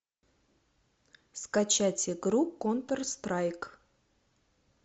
скачать игру контр страйк